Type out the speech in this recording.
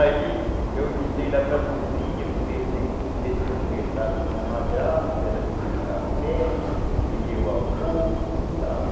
Aí eu entrei lá para a cozinha, comecei a conversar com a minha madrasta, ela me deu um café, me deu almoço e tal.